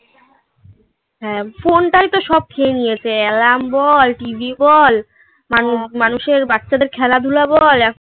হ্যাঁ ফোনটাই তো সব খেয়ে নিয়েছে alarm বল tv মানুষের বাচ্চাদের খেলাধুলা বল